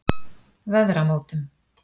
Veðramótum